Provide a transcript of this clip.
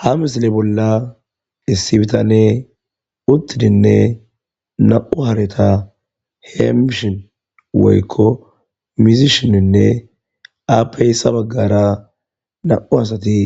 Ha missileza bolla issi bitaney utidinne nam''u hareta hemishe woykko mizishin . Izappe hena baggara nam''u asati